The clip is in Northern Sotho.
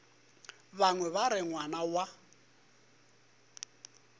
bangwe ba re ngwana wa